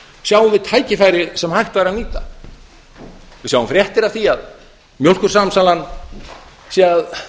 sjáum við tækifæri sem hægt væri að nýta við sjáum fréttir af því að mjólkursamsalan sé að